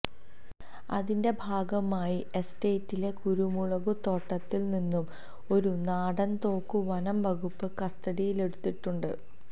അതിന്റെ ഭാഗമായി എസ്റ്റേറ്റിലെ കുരുമുളകു തോട്ടത്തിൽ നിന്നും ഒരു നാടൻ തോക്ക് വനം വകുപ്പ് കസ്റ്റഡിയിലെടുത്തിട്ടുണ്ട്